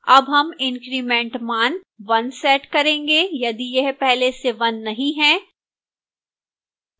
अब हम increment मान 1 set करेंगे यदि यह पहले से 1 नहीं है